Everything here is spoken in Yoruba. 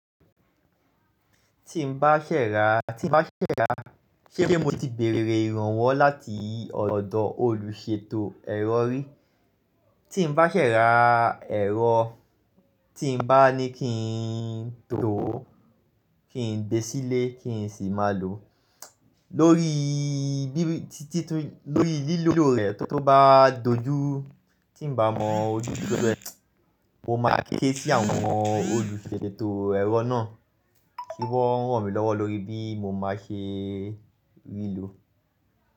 Tí n bá ṣẹ̀ṣẹ̀ rà, tí n bá ṣẹ̀ṣẹ̀ rà, ṣé mo ti bèrè ìrànwọ́ láti ọ̀dọ̀ olùṣètò ẹ̀rọ rí? Tí n bá ṣẹ̀ṣẹ̀ rà ẹ̀rọ, tí n bá ní kí n tò ó, kí n gbé sílé, kí n sì máa lò ó, lórí bí, tí, tí, lórí lílo rẹ̀ tó bá dojú, tí n bá mọ ojú lílò rẹ̀, mo máa ké sí àwọn olùṣètò ẹ̀rọ náà kí wọ́n ràn mí lọ́wọ́ lórí bí mo máa ṣe rí lò ó.